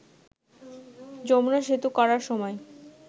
যমুনা সেতু করার সময়